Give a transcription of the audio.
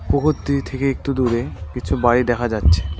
পুকুর দিয়ে থেকে একতু দূরে কিছু বাড়ি দেখা যাচ্ছে।